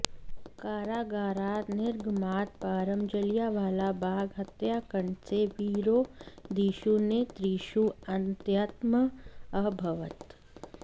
कारागारात् निर्गमात् परं जलियानावाला बाग हत्याकण्डस्य विरोधिषु नेतृषु अन्यतमः अभवत्